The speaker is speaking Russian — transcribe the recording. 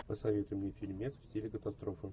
посоветуй мне фильмец в стиле катастрофы